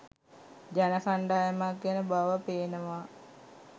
ජන කණ්ඩායමක් ගැන බව පේනවා.